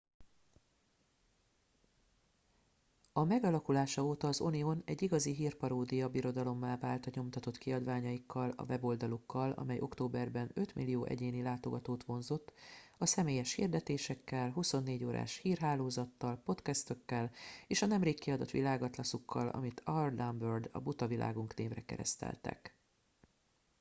"a megalakulása óta az onion egy igazi hírparódia birodalommá vált a nyomtatott kiadványaikkal a weboldalukkal amely októberben 5.000.000 egyéni látogatót vonzott a személyes hirdetésekkel 24 órás hírhálozattal podcastokkal és a nemrég kiadott világatlaszukkal amit "our dumb world" a buta világunk névre kereszteltek.